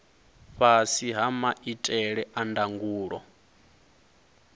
fhasi ha maitele a ndangulo